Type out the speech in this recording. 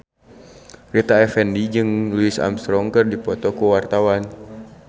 Rita Effendy jeung Louis Armstrong keur dipoto ku wartawan